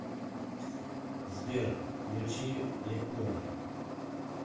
сбер включи якуро